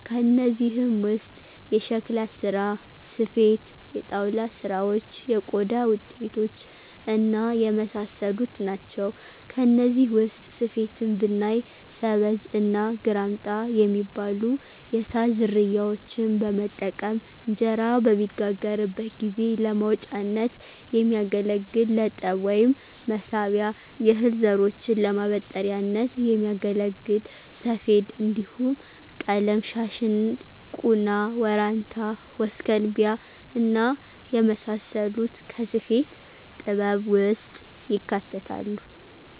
ከእነዚህም ውስጥ የሸክላ ስራ፣ ስፌት፣ የጣውላ ስራዎች፣ የቆዳ ውጤቶች እና የመሳሰሉት ናቸው። ከነዚህ ውስጥ ስፌትን ብናይ ሰበዝ እና ግራምጣ ሚባሉ የሳር ዝርያዎችን በመጠቀም እንጀራ በሚጋገርበት ጊዜ ለማውጫነት የሚያገለግል ለጠብ ወይም መሳቢያ፣ የእህል ዘሮችን ለማበጠሪያነት ሚያገለግል ሰፌድ እንዲሁም ቀለም- ሻሽ፣ ቁና፣ ወራንታ፣ ወስከንቢያ እና የመሳሰሉት ከስፌት ጥበብ ውስጥ ይካተታሉ።